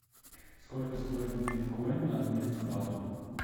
сколько стоит биткоин на обмен к бату